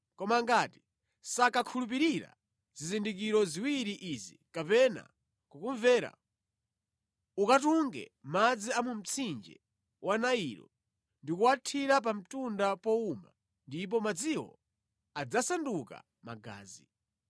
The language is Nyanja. Koma ngati sakakhulupirira zizindikiro ziwiri izi kapena kukumvera, ukatunge madzi a mu mtsinje wa Nailo ndi kuwathira pa mtunda powuma ndipo madziwo adzasanduka magazi.”